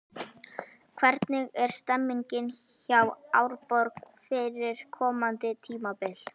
Hvernig er stemningin hjá Árborg fyrir komandi tímabil?